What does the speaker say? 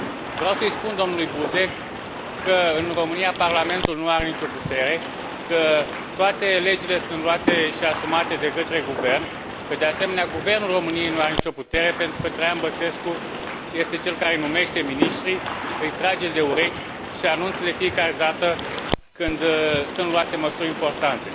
Vreau să îi spun domnului Buzek că, în România, Parlamentul nu are nicio putere, că toate legile sunt luate și asumate de către guvern, că, de asemenea, Guvernul României nu are nicio putere, pentru că Traian Băsescu este cel care numește miniștrii, îi trage de urechi și anunță de fiecare dată când sunt luate măsuri importante.